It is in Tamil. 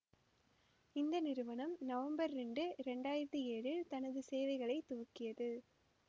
இந்த நிறுவனம் நவம்பர் இரண்டு இரண்டு ஆயிரத்தி ஏழில் தனது சேவைகளை துவக்கியது